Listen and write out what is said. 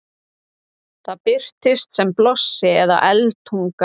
það birtist sem blossi eða eldtunga